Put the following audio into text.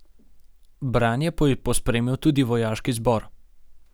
Branje pa je pospremil tudi vojaški zbor.